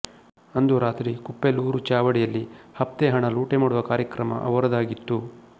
ಅಂದು ರಾತ್ರಿ ಕುಪ್ಪೇಲೂರ ಚಾವಡಿಯಲ್ಲಿ ಹಫ್ತೇಹಣ ಲೂಟಿಮಾಡುವ ಕಾರ್ಯಕ್ರಮ ಅವರದಾಗಿತ್ತು